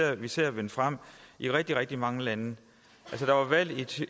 vi ser vinde frem i rigtig rigtig mange lande der var valg